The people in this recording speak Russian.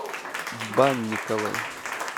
банниковой